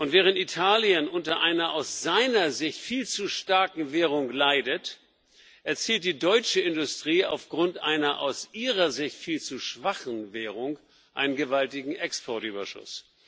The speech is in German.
Während Italien unter einer aus seiner Sicht viel zu starken Währung leidet, erzielt die deutsche Industrie aufgrund einer aus ihrer Sicht viel zu schwachen Währung einen gewaltigen Exportüberschuss.